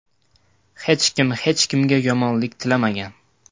Hech kim hech kimga yomonlik tilamagan.